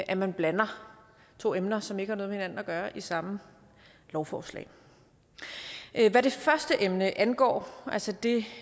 at man blander to emner som ikke har noget med hinanden at gøre i samme lovforslag hvad det første emne angår altså det